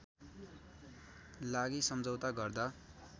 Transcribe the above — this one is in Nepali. लागि सम्झौता गर्दा